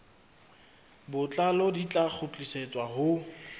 botlalo di tla kgutlisetswa ho